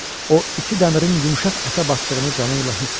O iti dəmirin yumşaq ətə batdığını canı ilə hiss etdi.